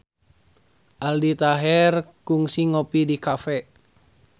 Aldi Taher kungsi ngopi di cafe